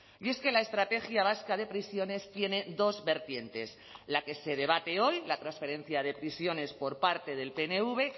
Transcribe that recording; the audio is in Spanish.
y es que la estrategia vasca de prisiones tiene dos vertientes la que se debate hoy la transferencia de prisiones por parte del pnv